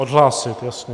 Odhlásit, jasně.